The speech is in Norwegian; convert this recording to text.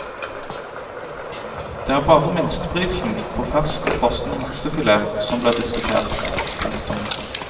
Det er bare minsteprisen på fersk og frossen laksefilet som blir diskutert. punktum